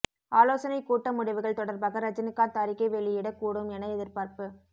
ஆலோசனை கூட்ட முடிவுகள் தொடர்பாக ரஜினிகாந்த் அறிக்கை வெளியிடக் கூடும் என எதிர்பார்ப்பு